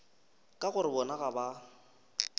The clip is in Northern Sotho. ka gore bona ga ba